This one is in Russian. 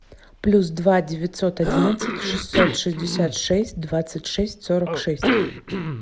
плюс два девятьсот одиннадцать шестьсот шестьдесят шесть двадцать шесть сорок шесть